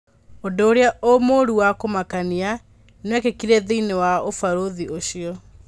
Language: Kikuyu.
ũndũũrĩa mũru wa kũmakania nĩwekĩkire thĩiniĩ wa ũbarũthi ũcio.